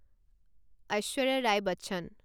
Aishwarya Rai Bachchan